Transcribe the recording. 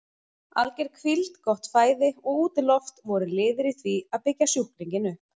Alger hvíld, gott fæði og útiloft voru liðir í því að byggja sjúklinginn upp.